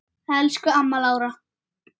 Elsku amma Lára.